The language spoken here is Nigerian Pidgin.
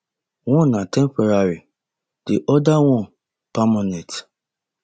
one na temporary di oda na permanent